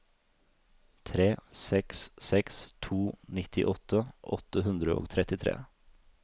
tre seks seks to nittiåtte åtte hundre og trettitre